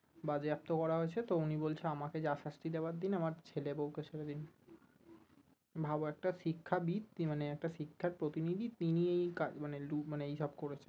বাজেয়াপ্ত করা হয়েছে তো উনি বলছে আমাকে যা শাস্তি দেবার দিন আমার ছেলে বউ কে ছেড়ে দিন ভাবো একটা শিক্ষা বিদ তিনি মানে একটা শিক্ষার প্রতিনিধি তিনি এই মানে মানে এই সব করেছে